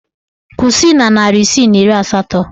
Kwụsị na narị isii na iri asatọ!